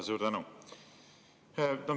Suur tänu!